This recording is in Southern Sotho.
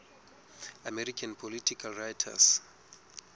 american political writers